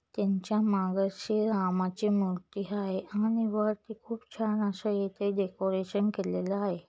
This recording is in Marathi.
त्यांच्यामागं श्रीरामाची मूर्ति हाय आणि वर ती खूप छान अश्या इथे डेकोरेशन केलेलं हाय.